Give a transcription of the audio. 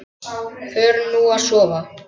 Förum nú að sofa.